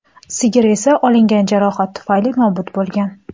Sigir esa olingan jarohat tufayli nobud bo‘lgan.